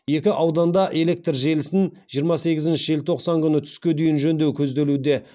екі ауданда электр желісін жиырма сегізінші желтоқсан күні түске дейін жөндеу көзделуде